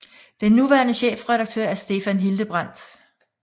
Den nuværende chefredaktør er Stefan Hildebrandt